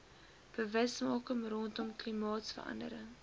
bewusmaking rondom klimaatsverandering